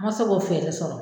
Ma se k'o fɛɛrɛ sɔrɔ